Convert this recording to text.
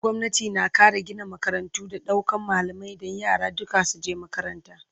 gwamnati na Kara Gina makarantu da daukan malamai Dan yara duka su je makaranta